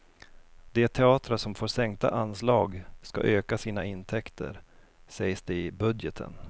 De teatrar som får sänkta anslag ska öka sina intäkter, sägs det i budgeten.